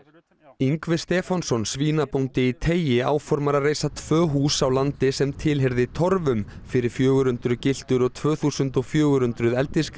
Ingvi Stefánsson svínabóndi í teigi áformar að reisa tvö hús á landi sem tilheyrði torfum fyrir fjögur hundruð gyltur og tvö þúsund og fjögur hundruð